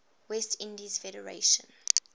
west indies federation